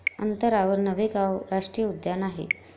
अंतरावर नवेगाव राष्ट्रीय उद्यान आहे.